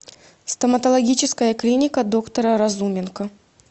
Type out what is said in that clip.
стоматологическая клиника доктора разуменко